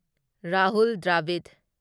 Rahul Dravid